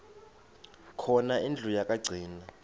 khona indlu yokagcina